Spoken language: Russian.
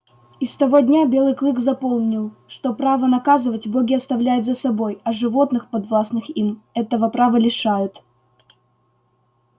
и с того дня белый клык запомнил что право наказывать боги оставляют за собой а животных подвластных им этого права лишают